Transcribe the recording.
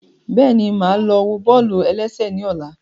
Bẹ́ẹ̀ni, máa lọ wo bọ́ọ̀lù-ẹlẹ́sẹ̀ ní ọ̀la